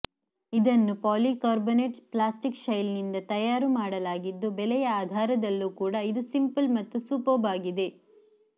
ಇದನ್ನು polycarbonate plastic ಶೆಲ್ನಿಂದ ತಯಾರುಮಾಡಲಾಗಿದ್ದು ಬೆಲೆಯ ಆಧಾರದಲ್ಲೂ ಕೂಡ ಇದು ಸಿಂಪಲ್ ಮತ್ತು ಸೂಪರ್ಬ್ ಆಗಿದೆ